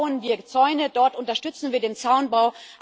Dort bauen wir Zäune, dort unterstützen wir den Zaunbau.